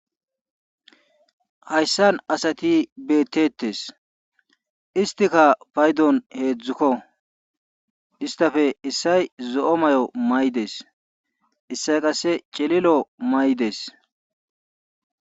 Haysan asati beetees. isstikka paydon heedzdzukko istappe issoy zo'o mayo mayidees. issoy qsse cililo mayidees.